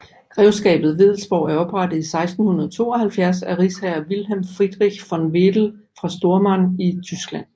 Grevskabet Wedellsborg er oprettet i 1672 af rigsfriherre Wilhelm Friedrich von Wedell fra Stormarn i Tyskland